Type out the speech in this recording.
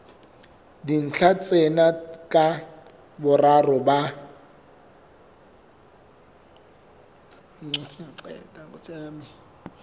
dintlha tsena ka boraro ba